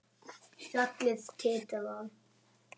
Fjallið titrar.